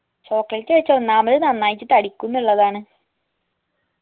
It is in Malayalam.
chocolate കഴിച്ചാ ഒന്നാമത് നന്നായിട്ട് തടിക്കുംന്നുള്ളതാണ്